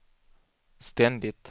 ständigt